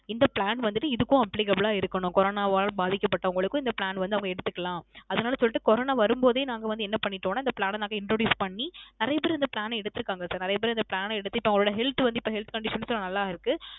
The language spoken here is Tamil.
இந்த Plan வந்துட்டு Applicable ஆ இருக்கனும் Corona வால் பாதிக்கப்பட்டவங்களுக்கு இந்த Plan வந்து அவங்க எடுத்துக்கலாம் அதுநாள சொல்லிட்டு Corona வரும் போதே நாங்க வந்து என்ன பண்ணிடோம்ன இந்த Plan ன நாங்க Introduce பண்ணி நிறைய பேர் இந்த Plan ன எடுத்துருக்காங்க Sir நிறைய பேர் இப்போ அந்த Plan ன எடுத்து இப்போ அவங்க Health Condition நல்ல இருக்கு